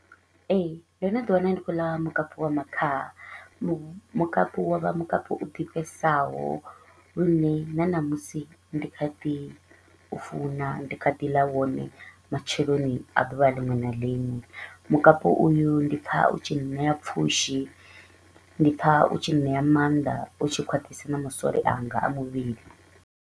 Ee, ndo no ḓi wana ndi kho u ḽa mukapu wa makhaha, mukapu wa vha mukapu u ḓifhesaho lune na ṋamusi ndi kha ḓi u funa, ndi kha ḓi ḽa wone matsheloni a ḓuvha ḽiṅwe na ḽiṅwe. Mukapu uyu ndi pfa u tshi nṋea pfushi ndi pfa u tshi nṋea maanḓa u tshi khwaṱhisa na masole anga a muvhili.